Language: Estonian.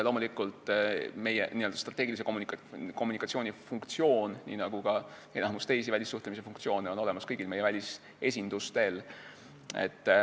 Loomulikult, meie n-ö strateegilise kommunikatsiooni funktsioon, nii nagu ka enamik teisi välissuhtlemisfunktsioone, on olemas kõigil meie välisesindustel.